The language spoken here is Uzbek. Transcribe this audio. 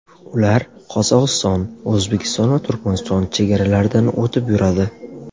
Ular Qozog‘iston, O‘zbekiston va Turkmaniston chegaralaridan o‘tib yuradi.